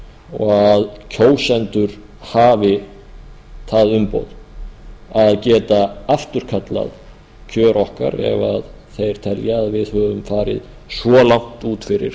og að kjósendur hafi það umboð að geta afturkallað kjör okkar ef þeir telja að við höfum svo langt út fyrir